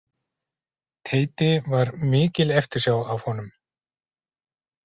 Teiti var mikil eftirsjá af honum.